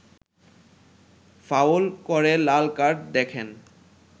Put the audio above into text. foul করে লাল card দেখেন